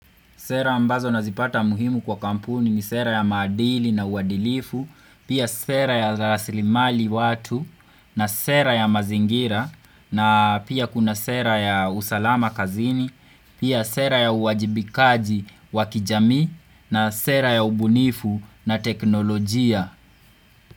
Sera ambazo nazipata muhimu kwa kampuni ni sera ya madili na uadilifu, pia sera ya rasilimali watu, na sera ya mazingira, na pia kuna sera ya usalama kazini, pia sera ya uwajibikaji wakijamii, na sera ya ubunifu na teknolojia.